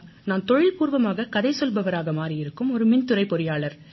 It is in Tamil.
நான் தொழில்பூர்வமாக கதை சொல்பவராக மாறியிருக்கும் ஒரு மின்துறைப் பொறியாளர்